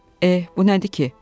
Eh, bu nədir ki?